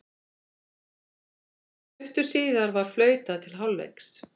Stuttu síðar var flautað til hálfleiks.